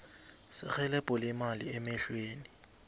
serhelebho lemali emahlelweni